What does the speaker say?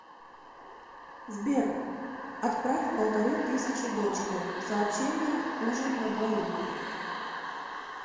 сбер отправь полторы тысячи дочке сообщение ужин на двоих